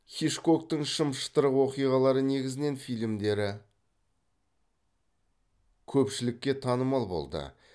хичкоктың шым шытырық оқиғаларға негізінен фильмдері көпшілікке танымал болды